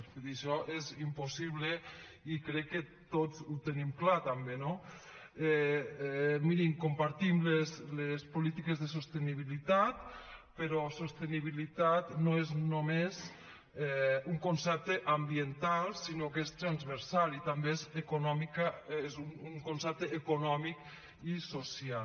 vull dir això és impossible i crec que tots ho tenim clar també no mirin compartim les polítiques de sostenibilitat però sostenibilitat no és només un concepte ambiental sinó que és transversal i també és un concepte econòmic i social